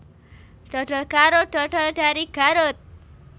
Dodol Garut dodol dari Garut